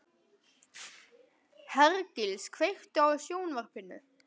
Hergils, kveiktu á sjónvarpinu.